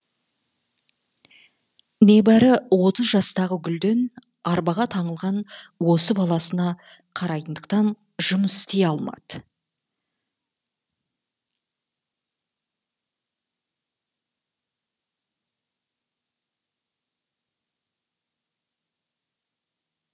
небәрі отыз жастағы гүлден арбаға таңылған осы баласына қарайтындықтан жұмыс істей алмады